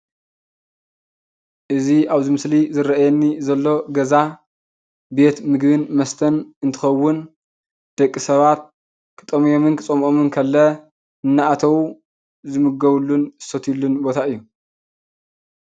አዝ ኣብአዚ መሰሊ ዘረአየኒ ዘሎገዛ ቤትምግቢን መሰተን አንትከዉን ደቂ ሰባት ክጠምዮምኒ ከፀሞኦምን ከለዉ እናዳኣተዉ ዝምገብሉኒ ዝሰትዩሉን ቦታ እዩ፡፡